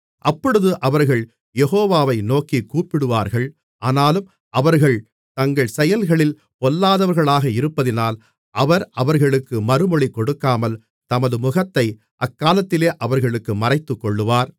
அப்பொழுது அவர்கள் யெகோவாவை நோக்கிக் கூப்பிடுவார்கள் ஆனாலும் அவர்கள் தங்கள் செயல்களில் பொல்லாதவர்களாக இருப்பதினால் அவர் அவர்களுக்கு மறுமொழி கொடுக்காமல் தமது முகத்தை அக்காலத்திலே அவர்களுக்கு மறைத்துக்கொள்ளுவார்